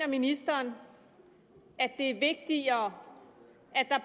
ministeren det er vigtigere